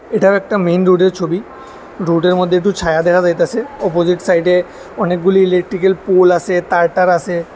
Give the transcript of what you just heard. এটা একটা মেন রোডের এর ছবি রোডের এর মদ্যে একটু ছায়া দেখা যাইতেছে অপজিট সাইডে এ অনেকগুলি ইলেকট্রিকের এর পোল আসে তার-টার আসে।